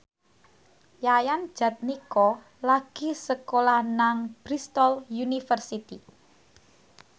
Yayan Jatnika lagi sekolah nang Bristol university